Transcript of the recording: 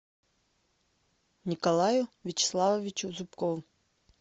николаю вячеславовичу зубкову